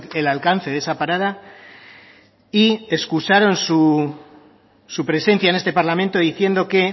el alcance de esa parada y excusaron su presencia en este parlamento diciendo que